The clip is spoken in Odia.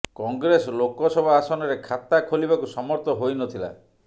କଂଗ୍ରେସ ଲୋକସଭା ଆସନରେ ଖାତା ଖୋଲିବାକୁ ସମର୍ଥ ହୋଇ ନଥିଲା